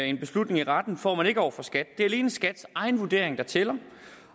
en beslutning i retten får man ikke over for skat her det alene skats egen vurdering der tæller